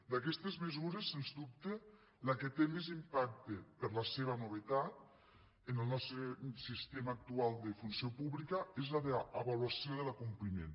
d’aquestes mesures sens dubte la que té més impacte per la seva novetat en el nostre sistema actual de funció pública és la d’avaluació de l’acompliment